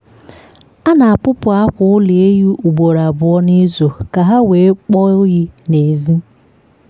a na-apupu akwa ụlọ ehi ugboro abụọ n’izu ka ha wee kpọọ oyi n’èzí.